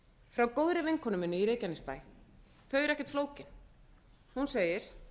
frá góðri vinkonu minni í reykjanesbæ eru ekkert flókin hún segir